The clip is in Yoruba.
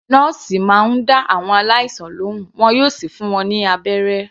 Nọ́ọ̀sì máa ń dá àwọn aláìsàn lohùn, wọn yóò sì fún wọn ní abẹ́rẹ́.